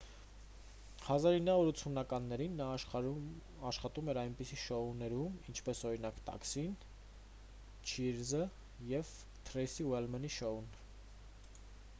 1980-ականներին նա աշխատում էր այնպիսի շոուներում ինչպես օրինակ տաքսին չիըրզը և թրեյսի ուլմենի շոուն